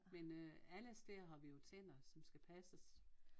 Men øh alle steder har vi jo tænder som skal passes